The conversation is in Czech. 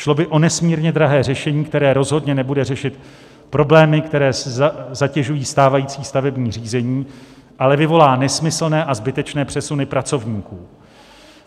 Šlo by o nesmírně drahé řešení, které rozhodně nebude řešit problémy, které zatěžují stávající stavební řízení, ale vyvolá nesmyslné a zbytečné přesuny pracovníků.